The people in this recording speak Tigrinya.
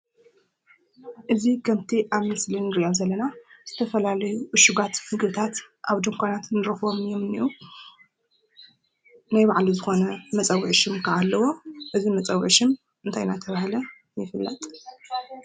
እዚ ከምቲ ኣብ ምስሊ እንሪኦ ዘለና ዝተፈላለዩ ዕሽጋት ምግብታት ኣብ ድንካናት ንረክቦም እዮም እንሄው። ናይ ባዕሉ ዝኮነ መፀዉዒ ሽም ከዓ አለዎ። እዚ መፀዊዒ ሽም እንታይ እናተባሃለ ይፅዋዕ ?